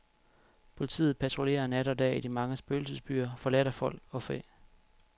Politiet patruljerer nat og dag i de mange spøgelsesbyer, forladt af folk og fæ.